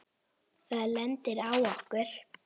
Það lendir á okkur.